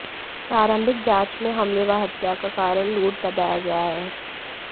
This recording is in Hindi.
प्रारंभिक जांच में हमले व हत्या का कारण लूट बताया गया है